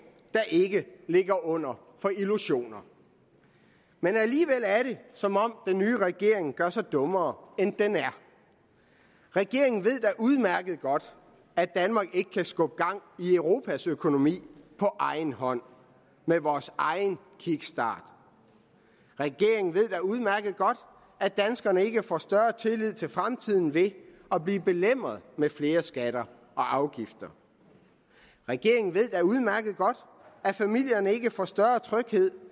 der ikke ligger under for illusioner alligevel er det som om den nye regering gør sig dummere end den er regeringen ved da udmærket godt at danmark ikke kan skubbe gang i europas økonomi på egen hånd med vores egen kickstart regeringen ved da udmærket godt at danskerne ikke får større tillid til fremtiden ved at blive belemret med flere skatter og afgifter regeringen ved da udmærket godt at familierne ikke får større tryghed